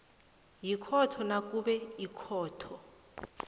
yikhotho nakube ikhotho